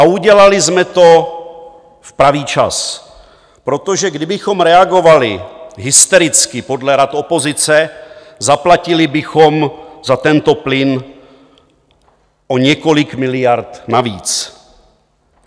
A udělali jsme to v pravý čas, protože kdybychom reagovali hystericky podle rad opozice, zaplatili bychom za tento plyn o několik miliard navíc.